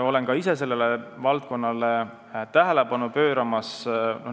Olen ka ise sellele valdkonnale tähelepanu pööranud.